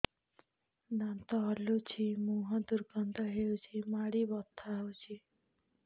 ଦାନ୍ତ ହଲୁଛି ମୁହଁ ଦୁର୍ଗନ୍ଧ ହଉଚି ମାଢି ବଥା ହଉଚି